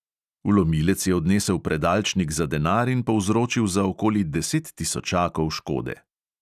Vlomilec je odnesel predalčnik za denar in povzročil za okoli deset tisočakov škode.